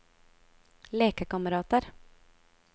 lekekamerater